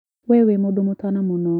We wĩ mũndũ mũtana mũno.